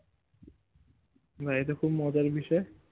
বাহ্ ইটা খুব মজার বিষয়ে